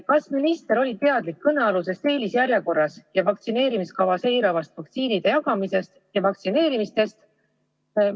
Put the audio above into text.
Kas minister oli teadlik kõnealusest eelisjärjekorras toimuvast ja vaktsineerimiskava eiravast vaktsiinide jagamisest ja vaktsineerimistest?